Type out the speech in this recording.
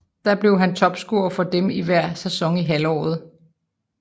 Der blev han topscorer for dem i hver sæson i halvandet år